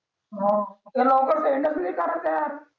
भाऊ ती लवकर send च नाही करत ये यार